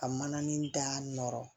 Ka manani da nɔrɔ